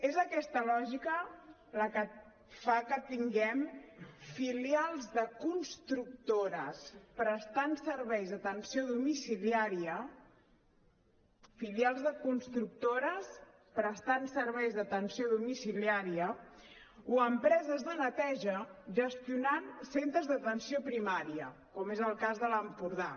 és aquesta lògica la que fa que tinguem filials de constructores prestant serveis d’atenció domiciliària filials de constructores prestant serveis d’atenció domiciliària o empreses de neteja gestionant centres d’atenció primària com és el cas de l’empordà